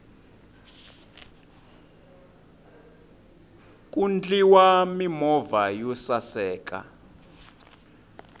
ku ndliwa mimovha yo saseka